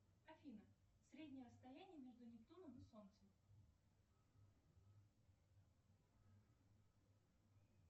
афина среднее расстояние между нептуном и солнцем